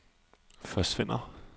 forsvinder